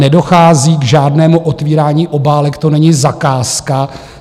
Nedochází k žádnému otvírání obálek, to není zakázka.